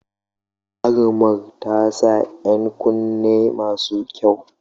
Jarumar ta sa ‘yan kunne masu kyau.